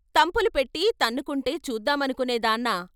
"తంపులు పెట్టి తన్నుకుంటే చూద్దామనుకునే దాన్నా?